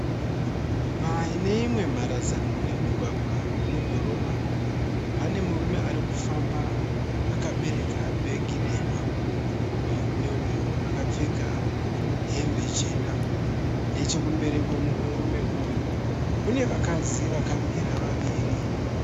Pane imwe mharadzano yemumugwagwa wemudhorobha, pane murume ari kufamba akabereka bheki dema. Murume uyu akapfeka hembe chena. Nechekumberi kwemurume uyu kune vakadzi vakamira vaviri.